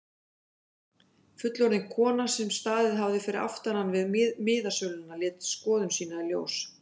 Fullorðin kona sem staðið hafði fyrir aftan hann við miðasöluna lét skoðun sína í ljós.